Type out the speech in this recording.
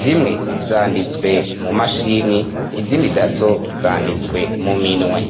zimwe zanditswe mu mashini izimwe idazo zanditswe mu minwe.